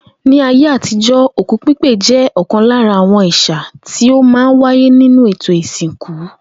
Ní ayé àtijo̩, òkú pípè jé̩ ò̩kan lára àwo̩n è̩sà tí ó máa ń wáyé nínú ètò ìsìnkú